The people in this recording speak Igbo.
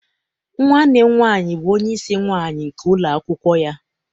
Nwanne m nwaanyị bụ onyeisi nwaanyị nke ụlọakwụkwọ ya.